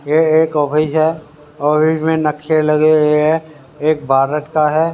ये एक ऑफिस है और इसमें नक्शे लगे हुए है एक भारत का है।